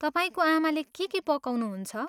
तपाईँको आमाले के के पकाउनुहुन्छ?